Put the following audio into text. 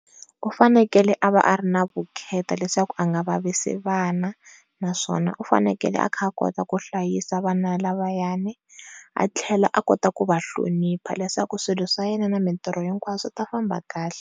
U fanekele a va a ri na vukheta leswaku a nga vavisi vana, naswona u fanekele a kha a kota ku hlayisa vana lavayani a tlhela a kota ka ku va hlonipha leswaku swilo swa yena na mintirho hinkwaswo swi ta famba kahle.